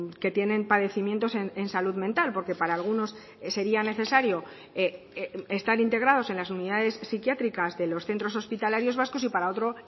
que tienen padecimientos en salud mental porque para algunos sería necesario estar integrados en las unidades psiquiátricas de los centros hospitalarios vascos y para otro